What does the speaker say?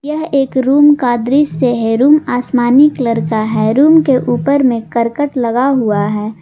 यह एक रूम का दृश्य है रूम आसमानी कलर का है रूम के ऊपर में करकट लगा हुआ है।